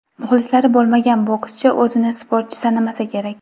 Muxlisi bo‘lmagan bokschi o‘zini sportchi sanamasa kerak.